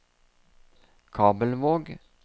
Kabelvåg